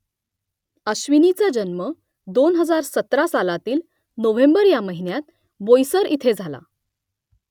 अश्विनीचा जन्म दोन हजार सतरा सालातील नोव्हेंबर ह्या महिन्यात बोईसर इथे झाला